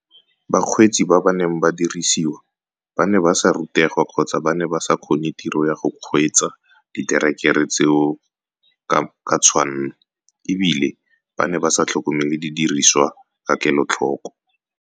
Bakgweetsi ba ba neng ba dirisiwa ba ne ba sa rutegwa kgotsa ba ne ba sa kgone tiro ya go kgweetsa diterekere tseo ka tshwanno e bile ba ne ba sa tlhokomele didiriswa ka kelotlhoko.